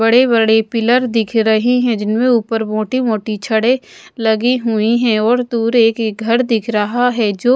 बड़े बड़े पिलर दिख रही है जिनमें ऊपर मोटी मोटी छड़े लगी हुई है और दूर एक घड दिख रहा है जो--